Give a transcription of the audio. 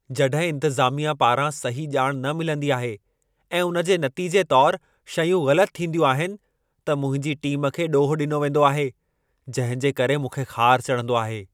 जॾहिं इंतिज़ामिया पारां सही ॼाण न मिलंदी आहे ऐं उन जे नतीजे तौरु शयूं ग़लति थींदियूं आहिनि, त मुंहिंजी टीम खे ॾोह ॾिनो वेंदो आहे। जंहिं जे करे मूंखे ख़ारु चढ़ंदो आहे।